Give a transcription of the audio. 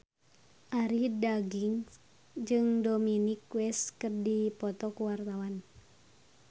Arie Daginks jeung Dominic West keur dipoto ku wartawan